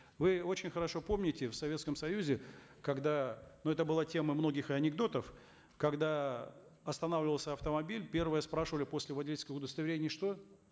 вы очень хорошо помните в советском союзе когда ну это была тема многих анекдотов когда останавливался автомобиль первое спрашивали после водительского удостоверения что